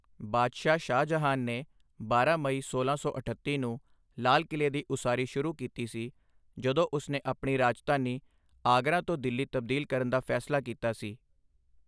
ਬਾਦਸ਼ਾਹ ਸ਼ਾਹਜਹਾਂ ਨੇ ਬਾਰਾਂ ਮਈ ਸੋਲਾਂ ਸੌ ਅਠੱਤੀ ਨੂੰ ਲਾਲ ਕਿਲੇ ਦੀ ਉਸਾਰੀ ਸ਼ੁਰੂ ਕੀਤੀ ਸੀ, ਜਦੋਂ ਉਸ ਨੇ ਆਪਣੀ ਰਾਜਧਾਨੀ ਆਗਰਾ ਤੋਂ ਦਿੱਲੀ ਤਬਦੀਲ ਕਰਨ ਦਾ ਫੈਸਲਾ ਕੀਤਾ ਸੀ।